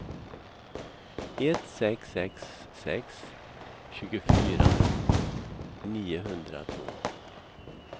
ett sex sex sex tjugofyra niohundratvå